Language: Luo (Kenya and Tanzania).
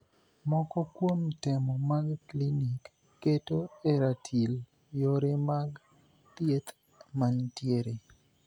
Moko kuom temo mag klinik keto e ratil yore mag thieth mantiere.